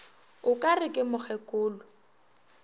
o ka re ke mokgekolo